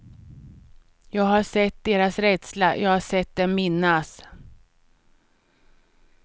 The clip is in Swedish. Jag har sett deras rädsla, jag har sett dem minnas.